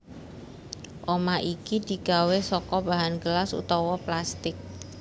Omah iki digawé saka bahan gelas utawa plastik